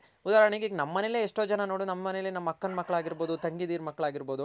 ಉದಾಹರಣೆಗೆ ಈಗ ನಮ್ ಮನೇಲೆ ಎಷ್ಟೋ ಜನ ನೋಡು ನಮ್ ಮನೇಲೆ ನಮ್ ಅಕ್ಕನ್ ಮಕ್ಕಳ್ ಆಗಿರ್ಬೋದು ತಂಗಿದಿರ್ ಮಕ್ಳ್ ಆಗಿರ್ಬೋದು